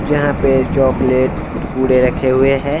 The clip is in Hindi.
जहां पर चॉकलेट कुरकुरे रखे हुए हैं|